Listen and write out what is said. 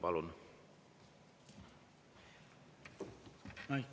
Palun!